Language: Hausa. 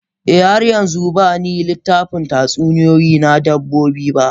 Eh, har yanzu zan ba ni littafin tatsuniyoyi na dabbobi.